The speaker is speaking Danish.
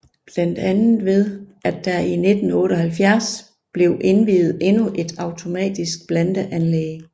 Blandt andet ved at der i 1978 blev indviet endnu et automatisk blandeanlæg